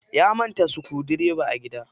Ya manta sukudireba a gida.